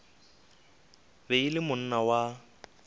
be e le monna wa